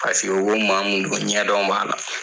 Paseke u bɛ maa mun don ɲɛdɔn b'a la.